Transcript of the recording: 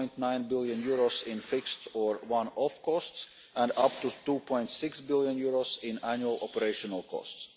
6.9 billion in fixed or one off costs, and up to EUR 2.6 billion in annual operational costs.